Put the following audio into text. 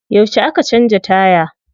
Yauce aka canza taya?